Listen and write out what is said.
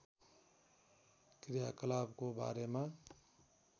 क्रियाकलापको बारेमा